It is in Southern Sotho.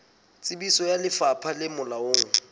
tsebiso ya lefapha le molaong